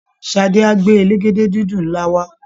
Ṣadé á gbé elégédé-dídùn ńlá wá